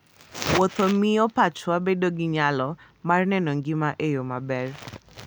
Wuotho miyo pachwa bedo gi nyalo mar neno ngima e yo maber.